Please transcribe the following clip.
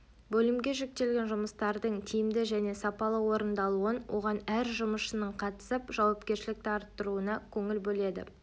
бөлімге жүктелген жұмыстардың тиімді және сапалы орындалуын оған әр жұмысшының қатысып жауапкершілікті арттыруына көңіл бөледі